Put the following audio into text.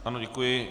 Ano, děkuji.